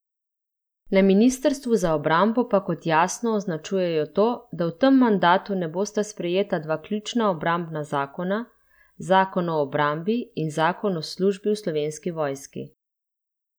Na ministrstvu za obrambo pa kot jasno označujejo to, da v tem mandatu ne bosta sprejeta dva ključna obrambna zakona, zakon o obrambi in zakon o službi v Slovenski vojski.